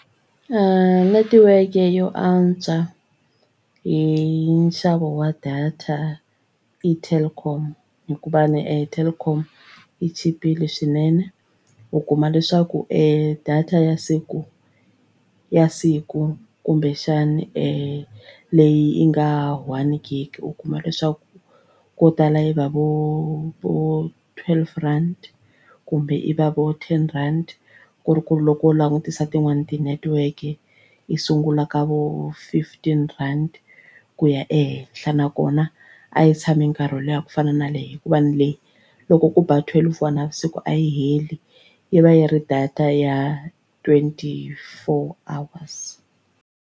Netiweke yo antswa hi nxavo wa data i Telkom hikuva ni Telkom yi chipile swinene u kuma leswaku e data ya siku ya siku kumbexani leyi nga one gig u kuma leswaku ko tala i va vo vo twelve rand kumbe yi va vo ten rand ku ri ku ri loko wo langutisa tin'wani tinetiweke yi sungula ka vo fifteen rand ku ya ehenhla nakona a yi tshami nkarhi wo leha ku fana na leyi hikuva na le loko ku ba twelve ya navusiku a yi heli yi va yi ri data ya twenty four hours.